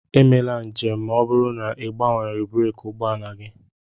Emela njem ma ọ bụrụ na ị gbanweeghị breeki ụgbọ ala gị!